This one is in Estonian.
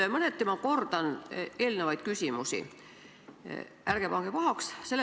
Ma mõneti kordan eelmisi küsimusi, ärge pange pahaks!